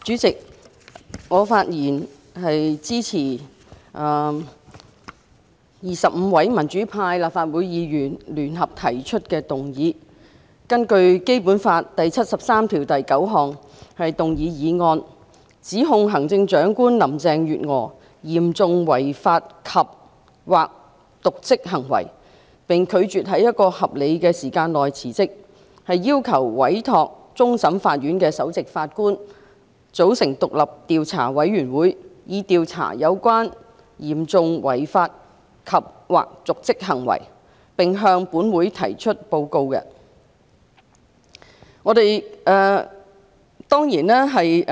主席，我發言支持25位民主派立法會議員根據《基本法》第七十三條第九項聯合動議的議案，指控行政長官林鄭月娥有嚴重違法及/或瀆職行為，並拒絕在合理時間內辭職，因而要求委托終審法院首席法官組成獨立調查委員會，以調查相關的嚴重違法及/或瀆職行為，並向本會提出報告。